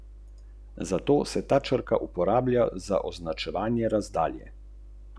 Potem ta sodelujočim pošlje dva testerja za odvzem vzorcev blata, ki ju nato vrnejo v priloženi kuverti z že plačano poštnino.